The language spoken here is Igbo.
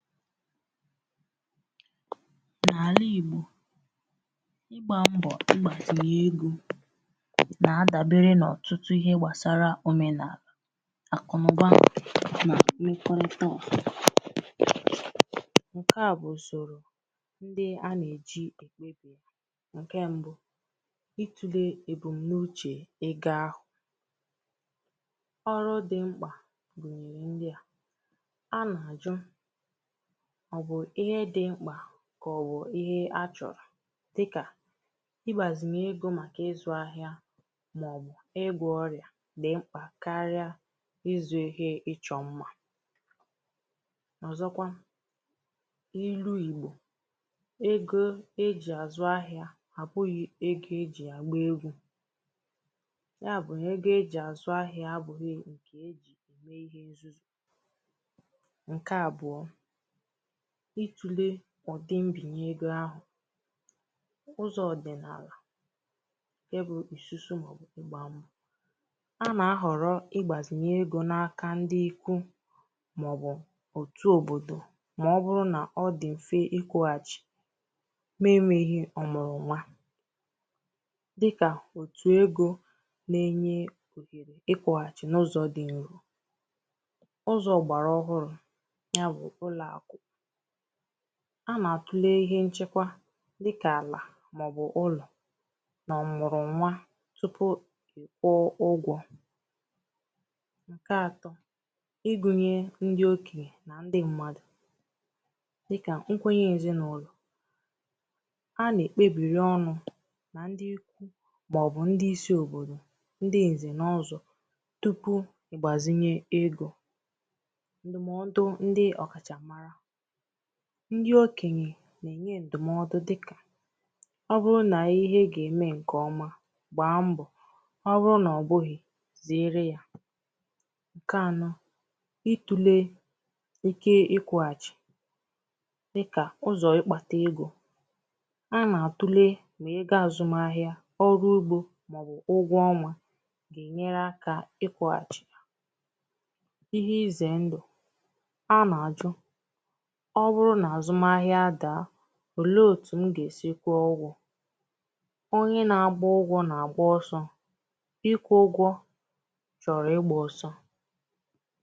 N’àlà Ìgbò ịgbā mbọ̀ igbàzinyè egō nà-adàbère n’ọ̀tụtụ ihe gbàsara òmenààlà àkụ̀naụ̀ba nà okwụtoo ǹkè a bụ̀ ùsòrò nde anà-èji ènye egō ǹkè mbụ̄ itūlē ebùnuchè ego ahụ̀ ọrụ dì mkpà gùnyèrè ndia anà-àjụ kà ọ̀ bụ̀ ihe di mkpà kà ọ̀ bụ̀ ihe achọ̀rọ̀ dikà igbàzìnyè egō màkà ịzụ̄ ahịa màọbụ̀ ịgwọ̄ ọrịà di mkpà karịa ịzụ̄ ihe ịchọ̄ mmā ọ̀zọkwa ilu Ìgbò ego ejì àzụ ahịā àbụghị ego ejì àgba egwū ya bụ̀ ego ejì àzụ ahịā àbụghị̄ ego e jì ème ihe nzuzù nke abụọ itule ọ̀dị mbìnye egō ahụ̀ ụzọ̀ ọ̀dị̀nààlà ǹke bụ ìsusu màọbụ̀ igbā mbọ̀ a nà-àhọrọ igbāzinye egō n’aka ndi ikwu màọbụ̀ òtù òbòdò màọ̀bụrụ nà ọ dị̀ m̀fe ịkwụ̄hàchì nà-enwēghī ọ̀mụ̀rụ̀ nwa dikà òtù egō na-enye òhèrè ịkwụ̄hàchì n’ụzọ̀ dị n’ihu ụzọ̀ ọ̀gbàrà ọhụrụ̄ ya bụ̀ ụlọ̀àkụ̀ a nà-àtule ihe nchekwa dikà àlà màọbụ̀ ụlọ̀ nà ọ̀mụ̀rụ nwa tupu ìkwụọ ụgwọ̄ ǹkè atọ̄ igūnyē ndi okènyè nà ndi mmādù dikà nkwenye èzinàụlọ̀ a nà-èkpebìri ọnụ̄ nà ndi ikwu màọbụ̀ ndi isi èzinàụlọ̀ ndi ǹzè na ọzọ̄ tupu ị̀gbàzinye egō ǹdụ̀mọdụ ndi ọ̀kàchà mara ndi okènyè nà-ènye ǹdụ̀mọdụ dikà ọ bụrụ nà ihe gà-ème ǹkèọma gbaa mbọ̀ ọ bụrụ nà ọ̀ bụghị̀ zeere ya ǹkè anọ̄ itūlē ike ịkwụ̄hàchì dịkà ụzọ̀ ịkpātā egō a nà-àtule egō àzụm ahịā ọrụ ugbō màọbụ̀ ụgwọ ọnwā gà-ènyere akā ịkwụ̄hàchì ya ihe izè ǹdụ̀ a nà-àjụ ọ bụrụ nà àzụm ahịa à daa ò leē òtù m gà-èsi kwụọ ụgwọ̄ onye nà-agba ụgwọ̄ nà-àgba ọsọ̄ ịkwụ̄ ụgwọ̄ chọ̀rọ̀ igbā ọsọ